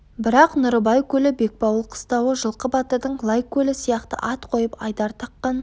бірақ нұрыбай көлі бекбауыл қыстауы жылқы батырдың лайкөлі сияқты ат қойып айдар таққан